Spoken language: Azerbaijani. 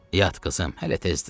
Yat qızım, hələ tezdir.